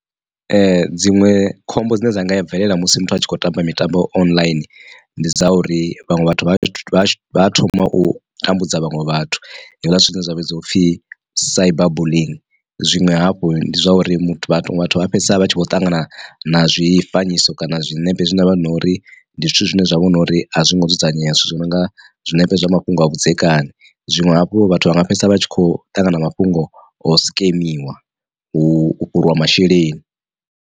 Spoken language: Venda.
Dziṅwe khombo dzine dza nga bvelela musi muthu atshi kho tamba mitambo online ndi dza uri vhaṅwe vhathu vha vha vha thoma u tambudza vhaṅwe vhathu hezwiḽa zwithu zwine zwa vhidziwa upfi Cyber bullying. Zwiṅwe hafhu ndi zwa uri muthu a fhedzisela vha tshi vho ṱangana na zwifanyiso kana zwinepe zwi na vha na uri ndi zwithu zwine zwa vhona uri a zwongo dzudzanyea zwithu zwi nonga zwinepe zwa mafhungo a vhudzekani zwiṅwe hafhu vhathu vha nga fhedzisela vha tshi kho ṱangana mafhungo o sikemiwa u fhuriwa masheleni.